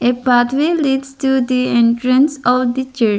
A pathway leads to the entrance of the chur --